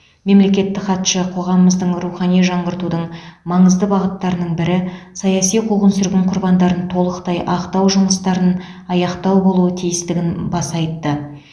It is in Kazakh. мемлекеттік хатшы қоғамыздың рухани жаңғыртудың маңызды бағыттарының бірі саяси қуғын сүргін құрбандарын толықтай ақтау жұмыстарын аяқтау болуы тиістігін баса айтты